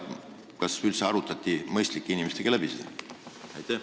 Kas üldse arutati see mõistlike inimestega läbi?